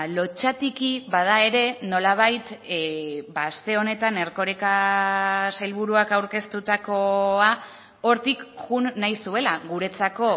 lotsatiki bada ere nolabait aste honetan erkoreka sailburuak aurkeztutakoa hortik joan nahi zuela guretzako